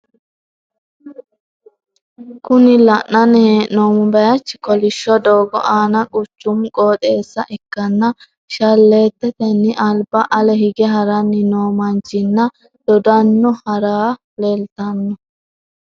Kuni la'nanni hee'noommo baaychi kolishsho doogo aana quchumu qooxeessa ikkanna shalleetetenni alba ale hige haranni noo manchinna doddanno harre leeltanno.